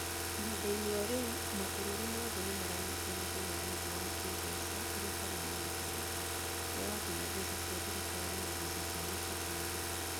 Ihinda-inĩ o rĩu, mabũrũri mothe nĩ maranyitwo nĩ thĩna mũnene wa kĩĩmbeca ũrĩa ũtarĩ woneka rĩngĩ, ũrĩa ũratũma mbeca cia thirikari na mbeca cia mĩciĩ cinyihe.